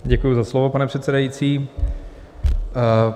Děkuji za slovo, pane předsedající.